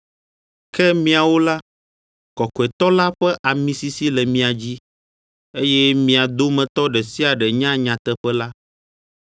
Ke miawo la, Kɔkɔetɔ la ƒe ami sisi le mia dzi, eye mia dometɔ ɖe sia ɖe nya nyateƒe la.